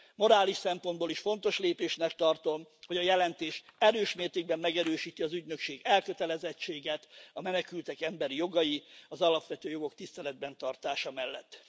Morális szempontból is fontos lépésnek tartom, hogy a jelentés erős mértékben megerősíti az ügynökség elkötelezettséget a menekültek emberi jogai, az alapvető jogok tiszteletben tartása mellett.